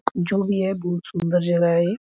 जो भी है बहुत सुंदर जगह है ये।